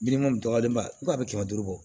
Biliman dɔgɔlenba ko a bɛ kɛmɛ duuru bɔ